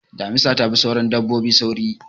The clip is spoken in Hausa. Damisa ta fi sauran dabbobi sauri.